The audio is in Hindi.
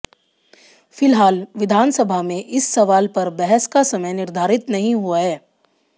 फिलहाल विधानसभा में इस सवाल पर बहस का समय निर्धारित नहीं हुआ है